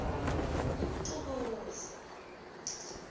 umxukuza